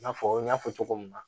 I n'a fɔ n y'a fɔ cogo min na